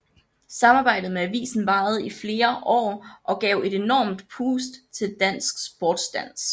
Samarbejdet med avisen varede i flere år og gav et enormt pust til dansk sportsdans